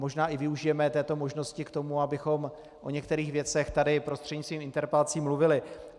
Možná i využijeme této možnosti k tomu, abychom o některých věcech tady prostřednictvím interpelací mluvili.